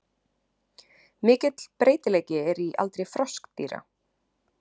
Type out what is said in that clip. Mikill breytileiki er í aldri froskdýra.